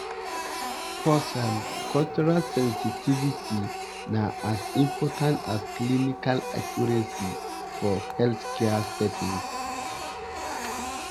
pause um cultural sensitivity na as important as clinical accuracy for healthcare settings.